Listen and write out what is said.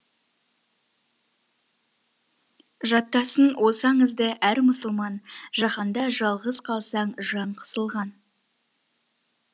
жаттасын осы аңызды әр мұсылман жаһанда жалғыз қалсаң жан қысылған